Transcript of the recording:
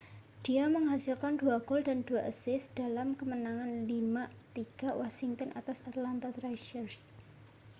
dia menghasilkan 2 gol dan 2 assist dalam kemenangan 5 3 washington atas atlanta thrashers